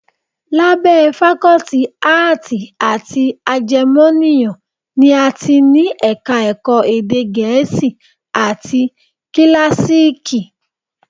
Lábẹ́ Fakọ́tì Áàtì àti Ajẹmọ́nìyàn ni a ti ní Ẹ̀ka-ẹ̀kọ́ Èdè Gẹ̀ẹ́sì, àti Kíláàsììkì